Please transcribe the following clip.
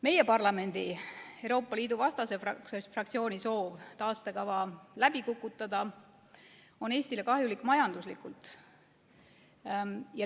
Meie parlamendi Euroopa Liidu vastase fraktsiooni soov taastekava läbi kukutada on Eestile kahjulik, majanduslikult.